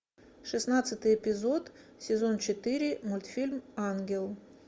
шестнадцатый эпизод сезон четыре мультфильм ангел